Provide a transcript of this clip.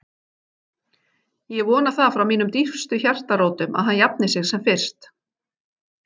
Ég vona það frá mínum dýpstu hjartarótum að hann jafni sig sem fyrst